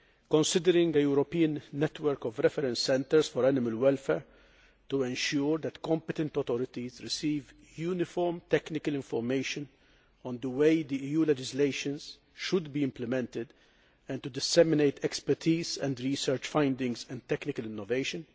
considering a European network of reference centres for animal welfare to ensure that competent authorities receive uniform technical information on the way that EU legislation should be implemented and to disseminate expertise, research findings and technical innovation